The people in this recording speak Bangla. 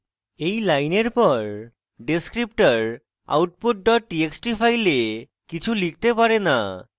এই লাইনের পর descriptor output dot txt file কিছু লিখতে পারে না